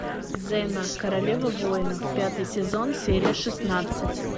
зена королева воинов пятый сезон серия шестнадцать